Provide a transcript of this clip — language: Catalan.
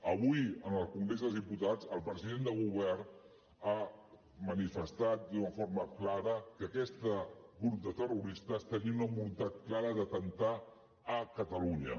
avui en el congrés dels diputats el president del govern ha manifestat d’una forma clara que aquest grup de terroristes tenia una voluntat clara d’atemptar a catalunya